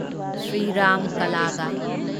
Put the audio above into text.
Shriram ꯀꯂꯥꯒ